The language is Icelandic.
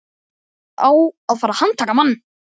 Það á að fara að handtaka mann.